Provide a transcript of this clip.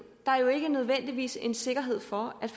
der er jo ikke nødvendigvis en sikkerhed for at